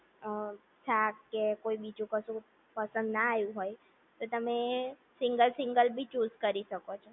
અ શાક કે કોઈ બીજું કશું પસંદ ના આવ્યું હોય તો તમે સિંગલ સિંગલ પી ચુઝ કરી શકો